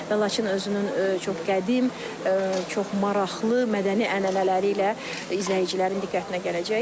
Və Laçın özünün çox qədim, çox maraqlı mədəni ənənələri ilə izləyicilərin diqqətinə gələcək.